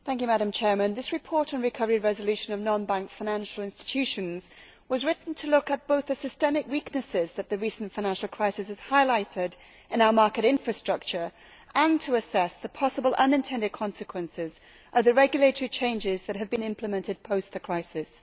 Madam President, this report on recovery and resolution of non bank financial institutions was written to look at both the systemic weaknesses that the recent financial crisis has highlighted in our market infrastructure and to assess the possible unintended consequences of the regulatory changes that have been implemented post the crisis.